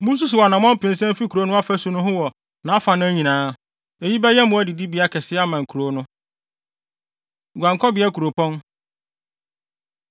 Munsusuw anammɔn mpensa mfi kurow no afasu no ho wɔ nʼafanan nyinaa. Eyi bɛyɛ mmoa adidibea kɛse ama nkurow no. Guankɔbea Nkuropɔn